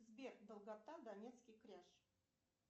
сбер долгота донецкий кряж